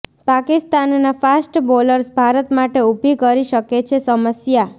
પાકિસ્તાનના fast bowlers Bharat માટે ઉભી કરી શકે છે સમસ્યા